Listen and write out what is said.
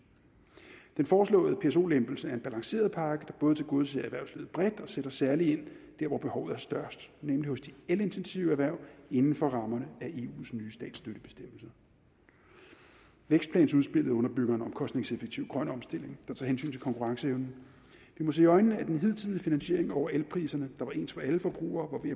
den foreslåede pso lempelse er en balanceret pakke der både tilgodeser erhvervslivet bredt og sætter særlig ind der hvor behovet er størst nemlig hos de elintensive erhverv inden for rammerne af eus nye statsstøttebestemmelse vækstplansudspillet underbygger en omkostningseffektiv grøn omstilling der tager hensyn til konkurrenceevnen vi må se i øjnene at den hidtidige finansiering over elpriserne der var ens for alle forbrugere